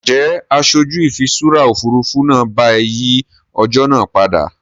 Ǹjẹ́ aṣojú ìfiṣúra Òfurufú náà bá ẹ yìí ọjọ́ náà padà?